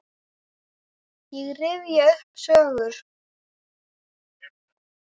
Ég rifja upp sögur.